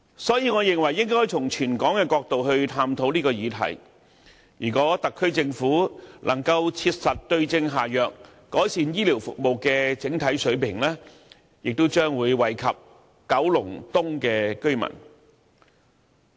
所以，我認為應該從全港的角度去探討這個議題，如果特區政府能夠切實對症下藥，改善醫療服務的整體水平，也將惠及九龍東的居民。